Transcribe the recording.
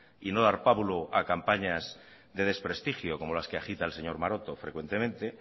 y no dar pábulo a campañas de desprestigio como las que agita el señor maroto frecuentemente